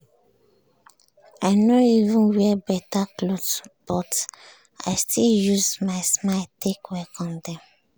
i nor even wear beta cloth but i still use my smile take welcome dem.